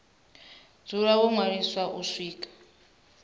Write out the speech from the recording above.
dzula ho ṅwaliswa u swika